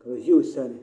ka bi ʒɛ o sani